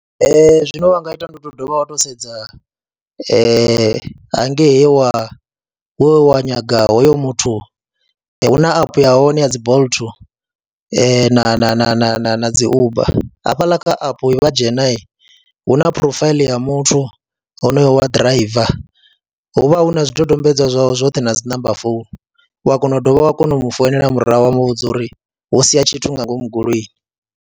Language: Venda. Ee, zwine vha nga ita ndi u tou dovha wa tou sedza hangei he wa nyaga hoyo muthu, hu na app ya hone ya dzi Bolt na na na na na na dzi Uber hafhaḽa kha app vha dzhena hu na phurofaiḽi ya muthu honoyo wa driver, hu vha hu na zwidodombedzwa zwawe zwoṱhe na dzi namba founu, u a kona u dovha wa kona u mu founela murahu wa mu vhudza uri wo sia tshithu nga ngomu goloini.